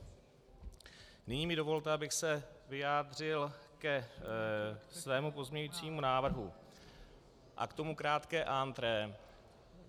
Nyní mi dovolte, abych se vyjádřil ke svému pozměňovacímu návrhu, a k tomu krátké entrée.